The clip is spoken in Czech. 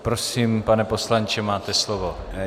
Prosím, pane poslanče, máte slovo.